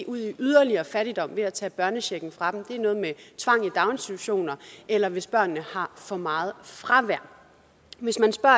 ud i yderligere fattigdom ved at tage børnechecken fra dem det er noget med tvang i daginstitutioner eller hvis børnene har for meget fravær hvis man spørger